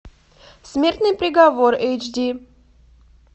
смертный приговор эйч ди